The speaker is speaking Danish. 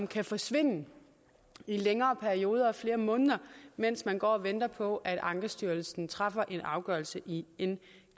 kan forsvinde i længere perioder af flere måneder mens man går og venter på at ankestyrelsen træffer en afgørelse i en